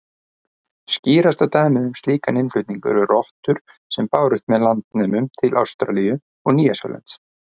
Skýrasta dæmið um slíkan innflutning eru rottur sem bárust með landnemum til Ástralíu og Nýja-Sjálands.